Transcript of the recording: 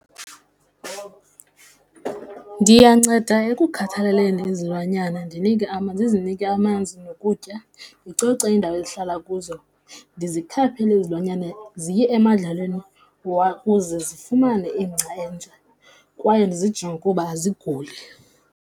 Ndiyanceda ekukhathaleleni izilwanyana ndinike ndizinike amanzi nokutya, ndicoce iindawo ezihlala kuzo, ndizikhaphile izilwanyana ziye emadlelweni kuze zifumane ingca entsha kwaye ndizijonge ukuba aziguli.